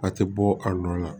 A tɛ bɔ a nɔ la